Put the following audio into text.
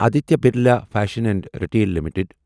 Aditya Birla fashion and retail limited